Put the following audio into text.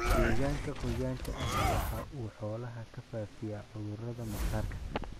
Deegaanka qoyaanka ahi waxa uu xoolaha ku faafiyaa cudurrada maqaarka.